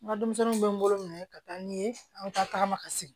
N ka denmisɛnninw bɛ n bolo minɛ ka taa n ye an bɛ taa tagama ka segin